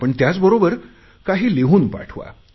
पण त्याचबरोबर काही लिहून पाठवा